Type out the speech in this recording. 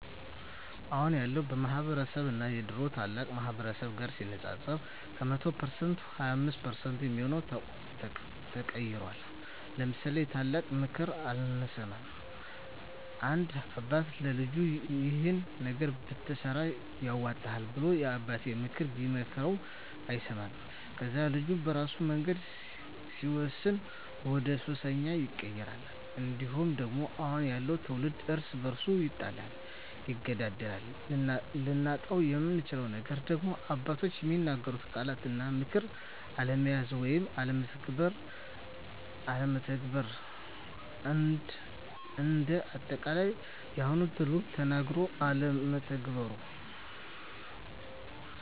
አሁን ያለው ማህበረስብ እና የድሮ ታላላቅ ማህበረሰብ ጋር ሲነፃፀር ከ100% 25% የሚሆው ተቀይሯል ለምሳሌ የታላላቅ ምክር አለመስማት፦ አንድ አባት ለልጁ ይሄን ነገር ብትሰራ ያዋጣሀል ብሎ የአባቴነተን ምክር ቢመክረው አይሰማውም ከዛ ልጁ በራሱ መንገድ ሲወስን ወደሱሰኛ ይቀየራል። እንዲሁም ደግሞ አሁን ያለው ትውልድ እርስ በርሱ ይጣላል ይገዳደላል። ልናጣው የምንችለው ነገር ደግሞ አባቶች የሚናገሩትን ቃላት እና ምክር አለመያዝ ወይም አለመተግበር። እንደ አጠቃላይ የአሁኑ ትውልድ ተነገሮ አለመተግበሩ